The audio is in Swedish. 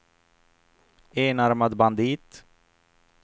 enarmad bandit